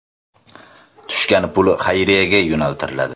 Tushgan pul xayriyaga yo‘naltiriladi.